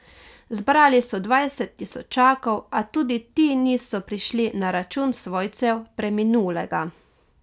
Zbrali so dvajset tisočakov, a tudi ti niso prišli na račun svojcev preminulega.